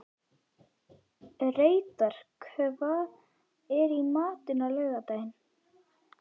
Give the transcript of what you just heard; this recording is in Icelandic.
Reidar, hvað er í matinn á laugardaginn?